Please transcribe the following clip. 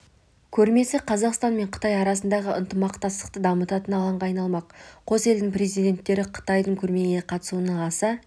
көрмесі қазақстан мен қытай арасындағы ынтымақтастықты дамытатын алаңға айналмақ қос елдің президенттері қытайдың көрмеге қатысуына аса